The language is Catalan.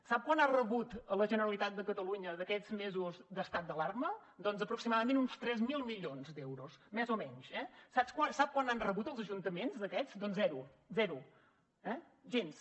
sap quant ha rebut la generalitat de catalunya d’aquests mesos d’estat d’alarma doncs aproximadament uns tres mil milions d’euros més o menys eh sap quant n’han rebut els ajuntaments d’aquests doncs zero zero eh gens